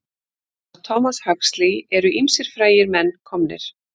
Af Thomas Huxley eru ýmsir frægir menn komnir.